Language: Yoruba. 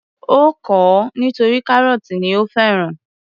Ó kọ̀ ọ́ nítorí kárọ́tì ni ó fẹ́ràn.